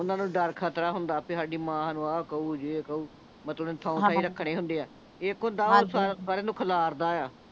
ਓਹਨਾਂ ਨੂੰ ਦਰ ਖਤਰਾ ਹੁੰਦਾ ਬੀ ਸਾਡੀ ਮਾਂ ਨੂ ਆਹ ਕਹੁ ਜੇ ਕਹੁ ਮਤਲਬ ਰੱਖਣੇ ਹੁੰਦੇ ਆ ਇੱਕ ਹੁੰਦਾ ਆ ਹਾਂਜੀ ਓਹ ਸਾਰਿਆਂ ਨੂੰ ਖਿਲਾਰਦਾ ਆ